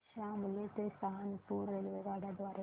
शामली ते सहारनपुर रेल्वेगाड्यां द्वारे